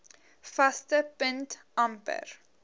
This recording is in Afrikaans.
vaste punt amper